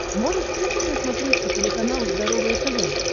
можешь включить на смотрешке телеканал здоровое тв